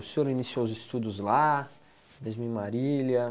O senhor iniciou os estudos lá, mesmo em Marília?